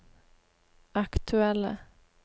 aktuelle